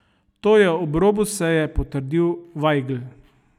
To je ob robu seje potrdil Vajgl.